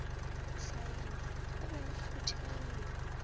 hlaiwa go be go phuthegile